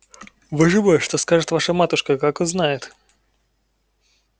боже мой что скажет ваша матушка как узнает